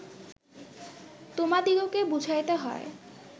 তোমাদিগকে বুঝাইতে হয়